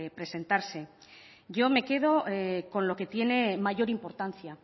presentarse yo me quedo con lo que tiene mayor importancia